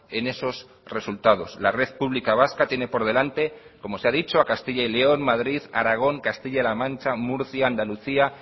en esos resultados la red pública vasca tiene por delante como se ha dicho a castilla y león madrid aragón castilla la mancha murcia andalucía